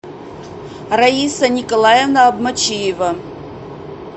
раиса николаевна обмочиева